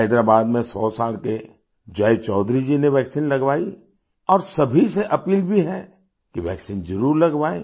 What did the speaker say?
हैदराबाद में 100 साल के जय चौधरी जी ने वैक्सीन लगवाई और सभी से अपील भी है कि वैक्सीन जरुर लगवाएँ